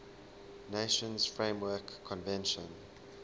nations framework convention